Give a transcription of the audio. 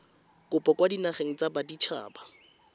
kopo kwa dinageng tsa baditshaba